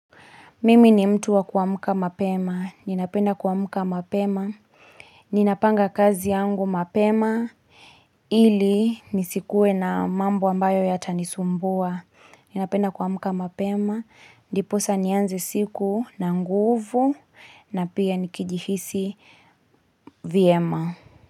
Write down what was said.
Mimi ni mtu wa kuamka mapema. Ninapenda kuamka mapema. Ninapanga kazi yangu mapema. Ili nisikue na mambo ambayo yatanisumbua. Ninapenda kwa muka mapema. Ndiposa nianze siku na nguvu na pia nikijihisi vyema.